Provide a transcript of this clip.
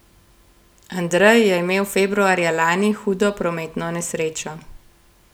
Andrej je imel februarja lani hudo prometno nesrečo.